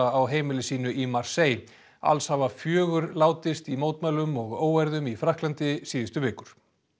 á heimili sínu í Marseille alls hafa fjögur látist í mótmælum og óeirðum í Frakklandi síðustu vikur